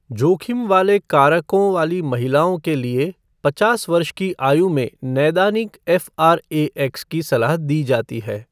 जोखिम वाले कारकों वाली महिलाओं के लिए पचास वर्ष की आयु में नैदानिक एफ़आरएएक्स की सलाह दी जाती है।